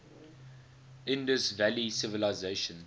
indus valley civilisation